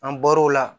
An bɔr'o la